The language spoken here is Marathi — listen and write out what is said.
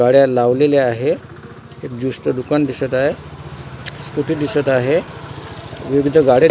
गाड्या लावलेल्या आहे एक ज्यूस च दुकान दिसत आहे स्कूटी दिसत आहे विविध गाड्या --